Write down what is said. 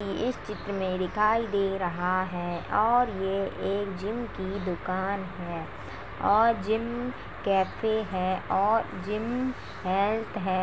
इस चित्र में दिखाई दे रहा है और यह एक जिम की दुकान है और जिम कैफे है और जिम हेल्थ है।